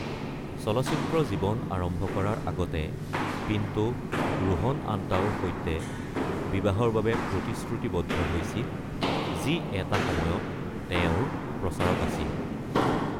চলচ্চিত্ৰ জীৱন আৰম্ভ কৰাৰ আগতে, পিণ্টো ৰোহন আণ্টাওৰ সৈতে বিবাহৰ বাবে প্ৰতিশ্ৰুতিবদ্ধ হৈছিল, যি এটা সময়ত তেওঁৰ প্ৰচাৰক আছিল।